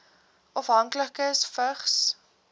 afhanklikes vigs